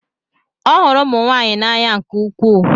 Ọ hụrụ ụmụ nwanyị n'anya nke ukwuu.